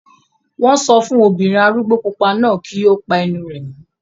Wọ́n sọ fún obìnrin arúgbó pupa náà kí ó pa ẹnu rẹ̀ mọ́